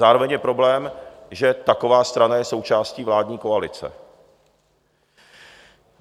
Zároveň je problém, že taková strana je součástí vládní koalice.